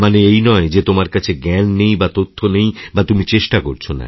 এই নয় যে তোমার কাছে জ্ঞান নেই বা তথ্য নেই বা তুমি চেষ্টা করছ না